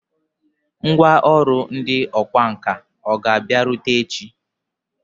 Ngwá ọrụ ndị ọkwá nkà hà ga-abịarute echi?